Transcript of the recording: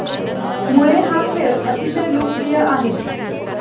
मुळे हा खेळ अतिशय लोकप्रिय आहे.